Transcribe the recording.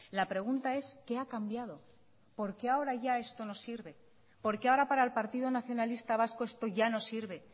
la pregunta es qué ha cambiado por qué ahora ya esto no se sirve por qué ahora para el partido nacionalistas vasco esto ya no sirve